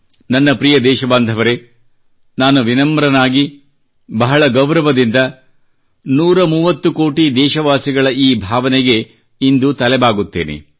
ನನ್ನ ಪ್ರಿಯ ದೇಶಬಾಂಧವರೆ ನಾನು ವಿನಮ್ರನಾಗಿ ಬಹಳ ಗೌರವದಿಂದ 130 ಕೋಟಿ ದೇಶವಾಸಿಗಳ ಈ ಭಾವನೆಗೆ ಇಂದು ತಲೆ ಬಾಗುತ್ತೇನೆ